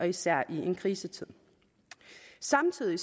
især i en krisetid samtidig